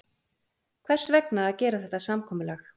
Hvers vegna að gera þetta samkomulag?